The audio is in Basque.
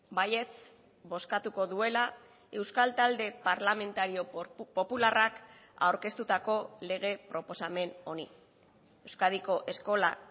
baietz bozkatuko duela euskal talde parlamentario popularrak aurkeztutako lege proposamen honi euskadiko eskola